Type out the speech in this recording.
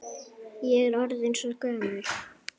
Ég er orðin svo gömul.